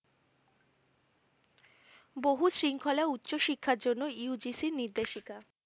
বহু শৃঙ্খলা উচ্চ শিক্ষার জন্য UGC নির্দেশিকা